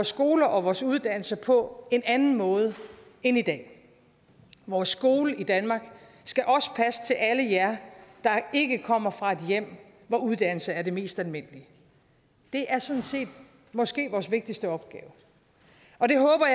skoler og vores uddannelser på en anden måde end i dag vores skole i danmark skal også passe til alle jer der ikke kommer fra et hjem hvor uddannelse er det mest almindelige det er sådan set måske vores vigtigste opgave og det håber